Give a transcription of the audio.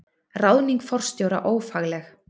Ráðning forstjóra ófagleg